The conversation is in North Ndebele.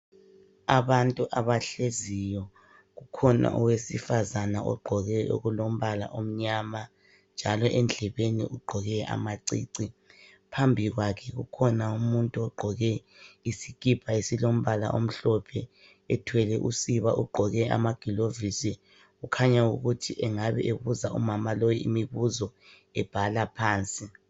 Abantu abahleziyo, kukhona owesifazana ogqoke okulombala omnyama njalo endlebeni ugqoke amacici, phambi kwakhe kukhona umuntu ogqoke isikipa esilombala omhlophe ethwele usiba. Ugqoke amaglovisi. Kukhanya ukuthi engabe ebuza umama lo imibuzo ebhala phansi.